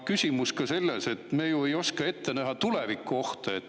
Küsimus on ka selles, et me ei oska ette näha tulevikuohte.